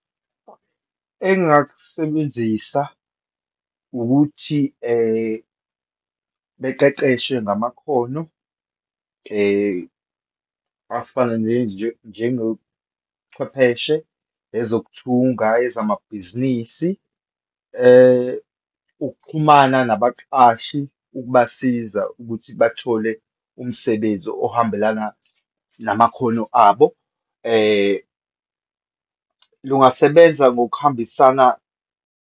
Engingakusebenzisa ukuthi beqeqeshwe ngamakhono afana ne njengochwepheshe, ezokuthunga, ezamabhizinisi, ukuxhumana nabaqashi ukubasiza ukuthi bathole umsebenzi ohambelana namakhono abo. Lungasebenza ngokuhambisana.